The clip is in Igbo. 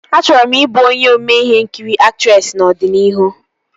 Achọrọ m ị bụ onye ome ihe nkiri aktresị n'ọdịnihu